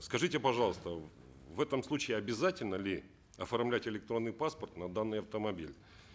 скажите пожалуйста в этом случае обязательно ли оформлять электронный паспорт на данный автомобиль